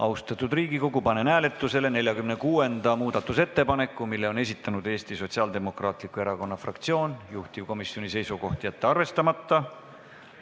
Austatud Riigikogu, panen hääletusele 46. muudatusettepaneku, mille on esitanud Eesti Sotsiaaldemokraatliku Erakonna fraktsioon, juhtivkomisjoni seisukoht: jätta see arvestamata.